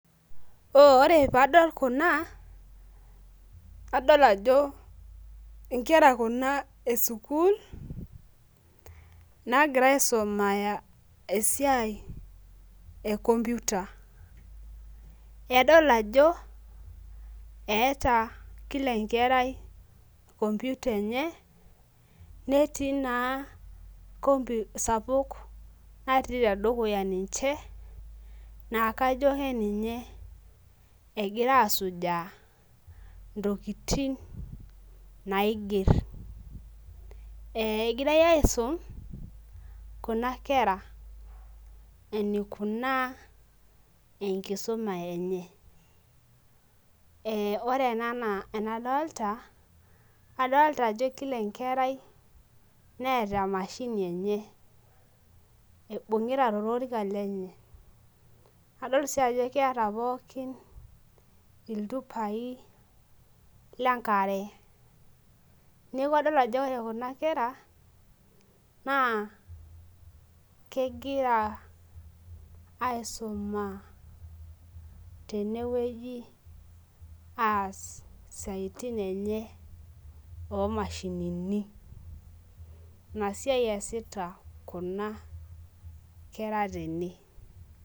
Ore padol kuna, nadol ajo inkera kuna esukuul, nagira aisumaya esiai e computer. Nadol ajo eeta kila enkerai computer enye, netii naa kompi sapuk natii tedukuya ninche, naa kajo keninye egira asujaa, intokiting naiger. Egirai aisum, kuna kera enikunaa enkisuma enye. Ore ena enaa enadolta, adolta ajo kila enkerai neeta emashini enye. Naibung'ita tolorika lenye. Adol si ajo keeta pookin iltupai lenkare. Neeku adol ajo ore kuna kera, naa kegira aisuma tenewueji aas isiaitin enye omashinini. Inasiai eesita kuna kera tene.